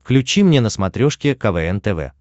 включи мне на смотрешке квн тв